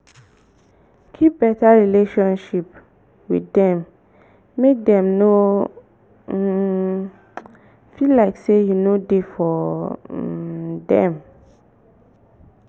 keep better relationship with dem make dem no um feel like sey you no dey for um dem